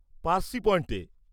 পারসি পয়েণ্টে।